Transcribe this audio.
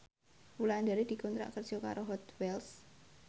Wulandari dikontrak kerja karo Hot Wheels